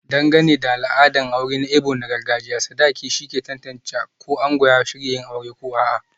Dangane da al'adar auren Igbo na gargajiya, sadakin shine ke tantance ko ango ya shirya yin aure ko a'a.